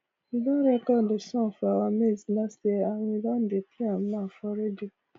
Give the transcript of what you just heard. we don record the song for our maize last year and we don dey play am now for radio